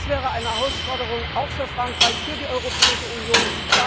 Das wäre eine Herausforderung auch für Frankreich, für die Europäische Union.